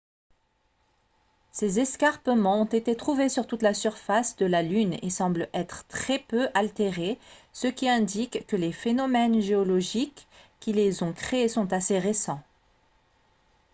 ces escarpements ont été trouvés sur toute la surface de la lune et semblent être très peu altérés ce qui indique que les phénomènes géologiques qui les ont créés sont assez récents